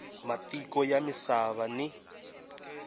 wa matiko ya misava ni